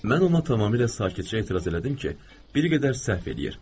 Mən ona tamamilə sakitcə etiraz elədim ki, bir qədər səhv eləyir.